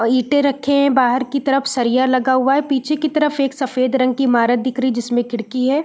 ओ ईटें रखें हैं बाहार की तरफ सरिया लगा हुआ हैं पीछे की तरफ एक सफ़ेद रंग की ईमारत दिख रही जिसमें खिड़की हैं।